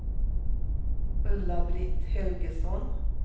Ulla-Britt Helgesson